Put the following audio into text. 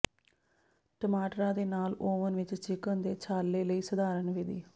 ਟਮਾਟਰਾਂ ਦੇ ਨਾਲ ਓਵਨ ਵਿੱਚ ਚਿਕਨ ਦੇ ਛਾਲੇ ਲਈ ਸਧਾਰਨ ਵਿਧੀ